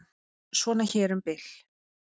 Svona hér um bil.